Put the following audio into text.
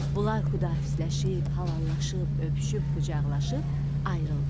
Bunlar xudahafizləşib, hallallaşıb, öpüşüb, qucaqlaşıb ayrıldılar.